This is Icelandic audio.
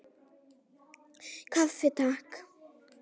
Kaffi, Takk!